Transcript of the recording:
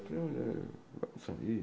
Eu falei olha, vamos sair.